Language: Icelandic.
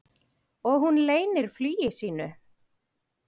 Og hún leynir flugi sínu.